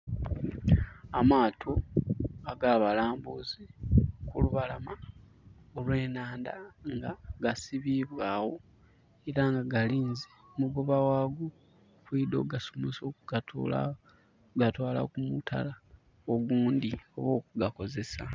Amaato agabalambuzi kulubalama olw'enhandha nga gasibibwa agho era nga galinze omugoba ghago okwidha okugasomosa okugatoola okugatwaala ku mutala ogundhi oba okugakozesa.